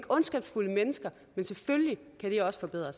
ondskabsfulde mennesker men selvfølgelig kan de også forbedre